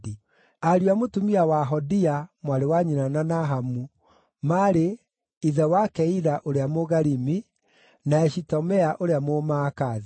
Ariũ a mũtumia wa Hodia (mwarĩ wa nyina na Nahamu) maarĩ: Ithe wa Keila ũrĩa Mũgarimi, na Eshitemoa ũrĩa Mũmaakathi.